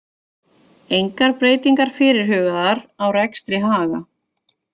Engar breytingar fyrirhugaðar á rekstri Haga